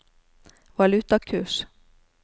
valutakurs